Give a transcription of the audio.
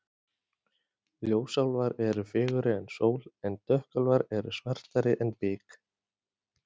Ljósálfar eru fegurri en sól en dökkálfar eru svartari en bik.